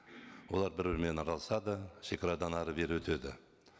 олар бір бірімен араласады шегарадан әрі бері өтеді